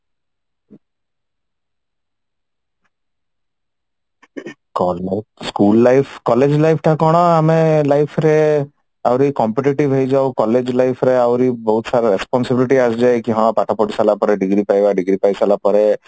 school life college life ଟା କଣ ଆମେ life ରେ ଆହୁରି competitive ହେଇ ଯାଉ college life ରେ ଆହୁରି ବହୁତ ସାରା responsibility ଆସିଯାଏ ହଁ ପାଠ ପଢି ସାରିଲା ପରେ degree ପାଇବା degree ପାଇ ସାରିଲା ପରେ